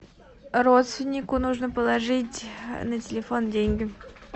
родственнику нужно положить на телефон деньги